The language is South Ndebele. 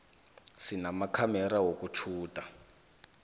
sinamakhamera wokutjhuda